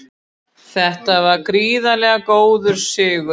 Þetta var gríðarlega góður sigur